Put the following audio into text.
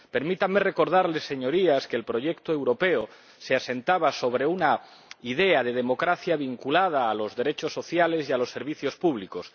Permítanme recordarles, Señorías, que el proyecto europeo se asentaba sobre una idea de democracia vinculada a los derechos sociales y a los servicios públicos.